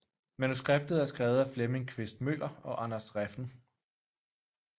Manuskriptet er skrevet af Flemming Quist Møller og Anders Refn